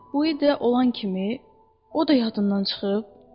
Uidə olan kimi, o da yadından çıxıb?